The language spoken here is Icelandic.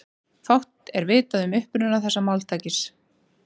Fátt er vitað um uppruna þessa máltækis.